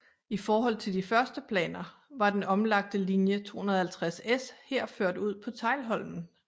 I forhold til de første planer var den omlagte linje 250S her ført ud på Teglholmen